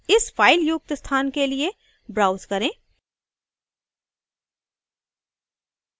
इस फ़ाइल युक्त स्थान के लिए browse करें